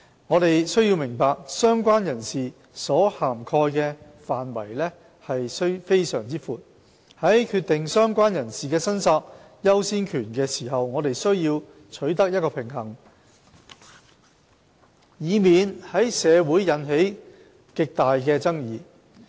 我們需要明白，"相關人士"所涵蓋的範圍非常廣闊，在決定"相關人士"的申索優先權時，我們需要取得一個平衡，以免在社會引起極大的爭議。